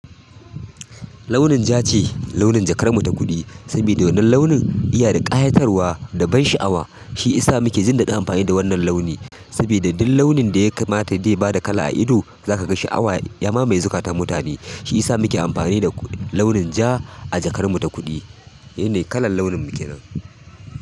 Launin ja ce launin jakar mu ta kuɗi, sabida wannan launin iya da kyatarwa da ban sha'awa. Shi isa muke jindaɗin amfani da wannan launi, sabida duk launin da ya kamata dai ya bada kala a ido, za ka ga sha'awa. Yama maye zukata mutane, shi isa muke amfani da launin ja a jakar mu ta kuɗi. Ehne kalal launin mu kenan.